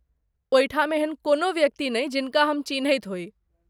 ओहिठाम एहन कोनो व्यक्ति नहि, जिनका हम चिन्हैत होइ।